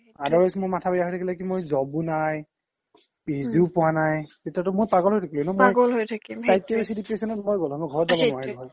আৰু মাথা বেয়া থাকিলে হয় মোৰ job ও নাই PhD ও পুৱা নাই তেতিয়া তো মই পাগল হৈ থাকিলো হয়